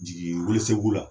Jigi welesebugu la